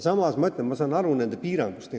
Samas ma ütlen, et ma saan nende piirangust aru.